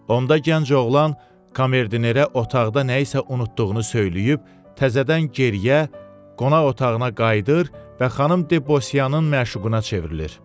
Onda gənc oğlan komerdinerə otaqda nəyisə unutduğunu söyləyib, təzədən geriyə qonaq otağına qayıdır və xanım de Bossiyanın məşuquna çevrilir.